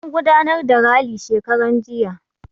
An gudanar da rali shekaran jiya.